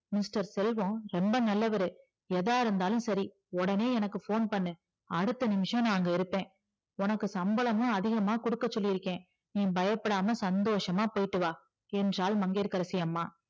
mister Selva ரொம்ப நல்லவரு எதா இருந்தாலும் சரி எனக்கு உடனே phone பண்ணு அடுத்த நிமிஷம் நா அங்க இருப்பா உனக்கு சம்பளமும் அதிகமா குடுக்க சொல்லிருக்க நீ பயப்படாம சந்தோசமா போய்ட்டு வா என்றால் மங்கிய கரசி அம்மா